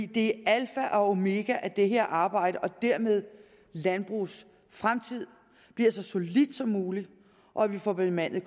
det er alfa og omega at det her arbejde og dermed landbrugets fremtid bliver så solidt som muligt og at vi får bemandet